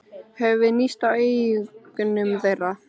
Höfum við níðst á eignum þeirra?